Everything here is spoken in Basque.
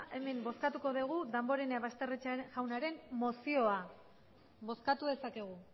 hemen bozkatuko dugu damborenea basterrechea jaunaren mozioa bozkatu dezakegu